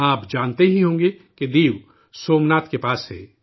آپ جانتے ہی ہوں گے کہ دیو، سومناتھ کے پاس ہے